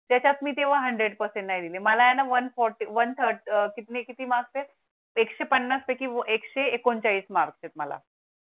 त्यात मी तेव्हा hundred percent नाही दिले मला one forty one thirty किती कितीमार्क्स आहेत एकशे पन्नास पैकी एकशे एकोणचाळीस मार्क्स आहेत मला. .